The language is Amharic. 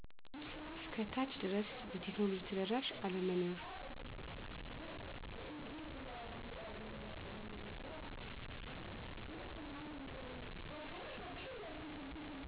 እስከ ታች ድረስ የቴክኖሎጂ ተደራሽ አለመኖር